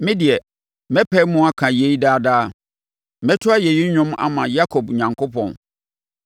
Me deɛ, mɛpae mu aka yei daa daa; mɛto ayɛyi dwom ama Yakob Onyankopɔn.